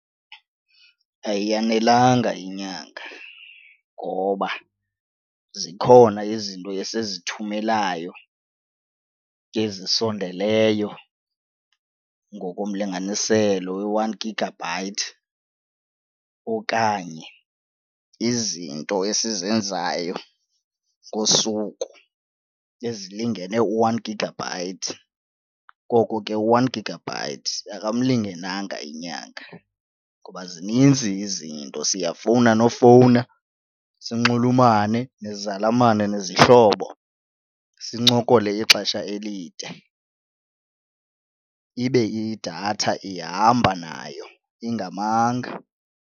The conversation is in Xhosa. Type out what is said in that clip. Ayiyanelanga inyanga ngoba zikhona izinto esizithumelayo ezisondeleyo ngokomlinganiselo we-one gigabyte okanye izinto esizenzayo ngosuku ezilingene u-one gigabyte. Koko ke u-one gigabyte akamlingenanga inyanga ngoba zininzi izinto, siyafuna nofowuna sinxulumane nezalamane nezihlobo, sincokole ixesha elide ibe idatha ihamba nayo ingamanga.